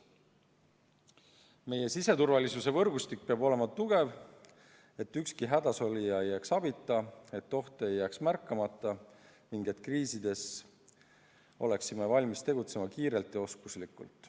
Meie siseturvalisuse võrgustik peab olema tugev, nii et ükski hädasolija ei jääks abita, oht ei jääks märkamata ning kriisides oleksime valmis tegutsema kiirelt ja oskuslikult.